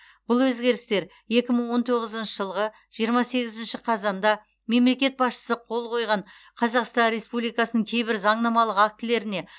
бұл өзгерістер екі мың он тоғызыншы жылғы жиырма сегізінші қазанда мемлекет басшысы қол қойған қазақстан республикасының кейбір заңнамалық актілеріне